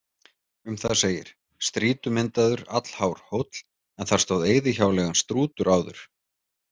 Um það segir: Strýtumyndaður, allhár hóll, en þar stóð eyðihjáleigan Strútur áður.